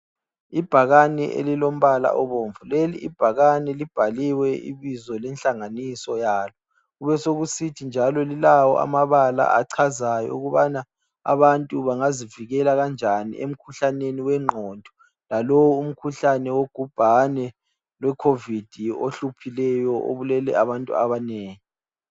Ibhakane elilombala obomvu ,leli ibhakane libhaliwe ibizo lenhlanganiso yalo. Kubesokusithi njalo lilawo amabala achazayo ukubana abantu bangazivikela kanjani emkhuhlaneni wengqondo lalowu umkhuhlane wogubhane lwe COVID ohluphileyo obulele abantu abanengi.